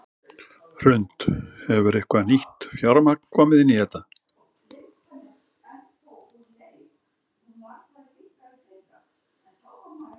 Hrund: Hefur eitthvað nýtt fjármagn komið inn í þetta?